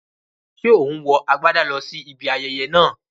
Ṣé ò ń wọ agbádà lọ sí ibi ayẹyẹ náà?